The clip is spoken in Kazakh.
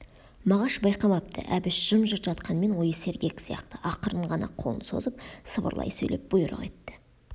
мағаш байқамапты әбіш жым-жырт жатқанмен ойы сергек сияқты ақырын ғана қолын созып сыбырлай сөйлеп бұйрық етті